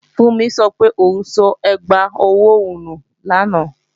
Fúnmi sọ pé òun sọ ẹgbà ọwọ́ òun nù lánàá